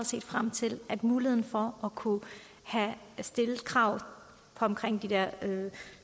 set frem til at få mulighed for at kunne stille et krav om at omkring